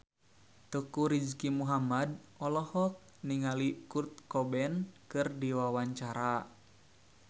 Teuku Rizky Muhammad olohok ningali Kurt Cobain keur diwawancara